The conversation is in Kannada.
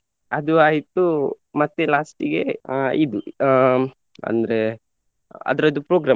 ಅದು ಆಯಿತು ಮತ್ತೆ last ಗೆ ಅಹ್ ಇದು ಹ್ಮ್‌ ಅಂದ್ರೆ ಅದರದ್ದು program .